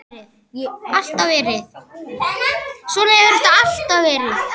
Svona hefur þetta alltaf verið.